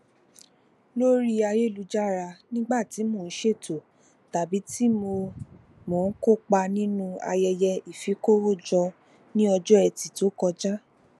lórí ayélujára nígbà tí mo ń ṣètò tàbí tí mo mo ń kópa nínú ayẹyẹ ifikowójọ ní ọjọ ẹti tó kọjá